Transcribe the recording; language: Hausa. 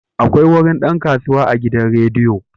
Akwai wurin dan kasuwa a gidan rediyo.